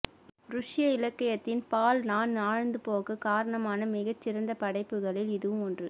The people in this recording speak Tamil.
ருஷ்ய இலக்கியத்தின் பால் நான் ஆழ்ந்து போக காரணமான மிகச்சிறந்தபடைப்புகளில் இதுவும் ஒன்று